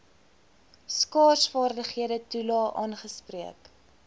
skaarsvaardighede toelae aangespreek